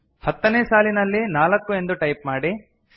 ಹತ್ತನೇ ಸಾಲಿನಲ್ಲಿ ನಾಲ್ಕು ಎಂದು ಟೈಪ್ ಮಾಡಿ